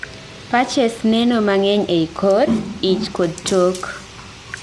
patches neno mang'ey ei kor , ich kod tok